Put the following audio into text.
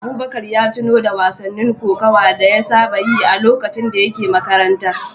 Abubakar ya tuno da wasannin kokawa da ya saba yi a lokacin da yake makaranta.